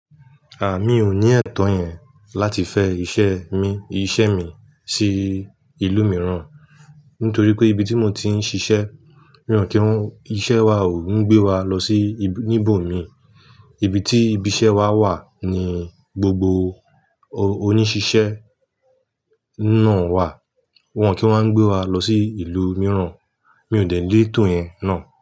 A! Mi ò ní ẹ̀tọ́ yẹn láti fẹ iṣẹ́ mi, iṣẹ́ mi sí ìlú mìíràn nítorí pé ibi tí mo ti ń ṣiṣẹ́, ríran kí iṣẹ́ wa ò ń gbé wa lọ sí níbò mi. Ibi tí ibi iṣẹ́ wa wà ni gbogbo oníṣiṣẹ́ náà wà. Wọn kì í wáa ń gbé wa lọ sí ìlú mìíràn. Mi ò dẹ̀ lé ètò yẹn náà.